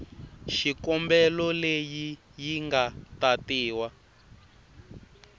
xikombelo leyi yi nga tatiwa